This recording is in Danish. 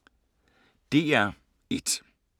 DR1